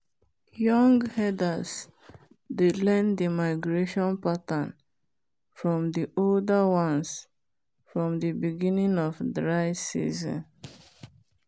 young herders dey learn the migration pattern from the older ones from the beginning of dry season.